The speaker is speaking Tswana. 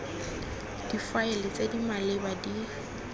difaele tse di maleba di